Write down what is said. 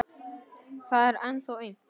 Það er ennþá aumt.